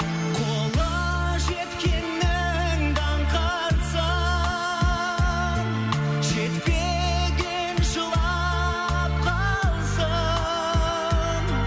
қолы жеткеннің даңқы атсын жетпеген жылап қалсын